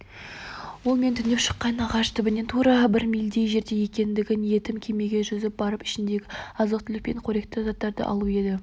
ол мен түнеп шыққан ағаш түбінен тура бір мильдей жерде екен ендігі ниетім кемеге жүзіп барып ішіндегі азық-түлік пен керекті заттарды алу еді